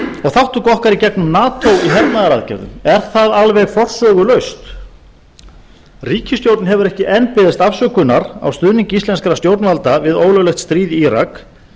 þátttöku okkar í gegnum nato í hernaðaraðgerðum er það alveg forsögulaust ríkisstjórnin hefur ekki enn beðist afsökunar á stuðningi íslenskra stjórnvalda við ólöglegt stríð í írak